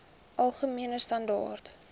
algemene standaar